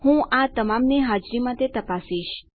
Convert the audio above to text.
હું આ તમામની હાજરી માટે તપાસીશ